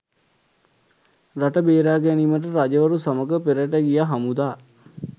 රට බේරා ගැනීමට රජවරු සමඟ පෙරට ගිය හමුදා